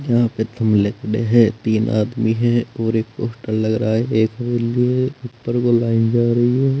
यहां पे थमले पड़े हैं तीन आदमी है और एक पोस्टर लग रहा है एक बिल्डिंग है ऊपर को लाइन जा रही है।